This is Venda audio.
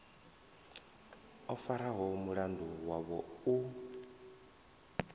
o faraho mulandu wavho u